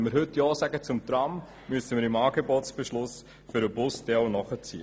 Wenn wir heute ja zum Tram sagen, müssen wir im Angebotsbeschluss für den Bus nachziehen.